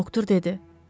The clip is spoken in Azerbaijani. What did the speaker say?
Doktor dedi.